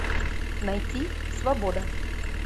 найти свобода